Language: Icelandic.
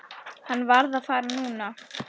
Hann varð að fara núna.